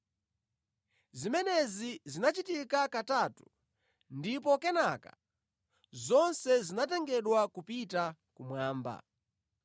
Zimenezi zinachitika katatu ndipo kenaka zonse zinatengedwa kupita kumwamba.